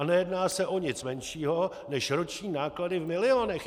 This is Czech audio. A nejedná se o nic menšího než roční náklady v milionech.